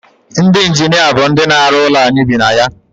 ndị injinia bụ ndị na-arụ ụlọ anyị bi na ya